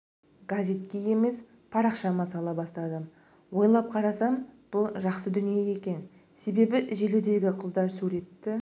газетке емес парақшама сала бастадым ойлап қарасам бұл жақсы дүние екен себебі желідегі қыздар суретті